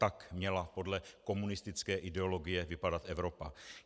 Tak měla podle komunistické ideologie vypadat Evropa.